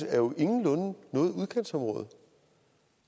er jo ingenlunde noget udkantsområde